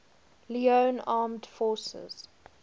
leone armed forces